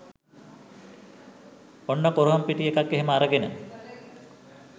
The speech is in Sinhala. ඔන්න කුරහන් පිටි ටිකක් එහෙම අරගෙන